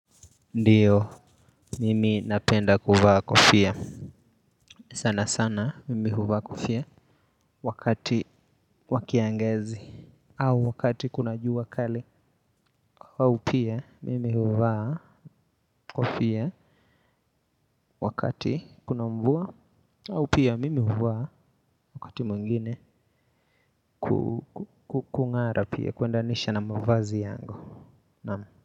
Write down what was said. Ndiyo mimi napenda kuvaa kofia sana sana mimi huvaa kofia wakati wa kiangazi au wakati kuna jua kali au pia mimi huvaa kofia wakati kuna mvua au pia mimi huvaa wakati mwengine kukung'ara pia kuendanisha na mavazi yangu na.